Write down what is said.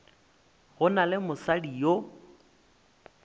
go na le mosadi yo